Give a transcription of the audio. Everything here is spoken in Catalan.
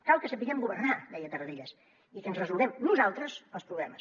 cal que sapiguem governar deia tarradellas i que ens resolguem nosaltres els problemes